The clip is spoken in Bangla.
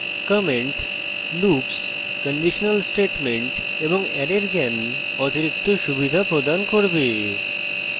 comments loops কন্ডিশনাল statements এবং অ্যারের জ্ঞান অতিরিক্ত সুবিধা প্রদান করবে